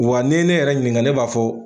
Wa ne n'ye yɛrɛ ɲininka ne b'a fɔ.